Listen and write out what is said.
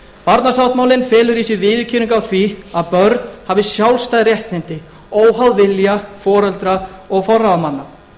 barnasáttmálinn felur í sér viðurkenningu á því að börn hafi sjálfstæð réttindi óháð vilja foreldra og forráðamanna